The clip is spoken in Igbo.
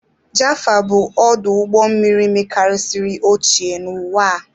Jaffa bụ ọdụ ụgbọ mmiri mekarisiri ochie n'ụwa a.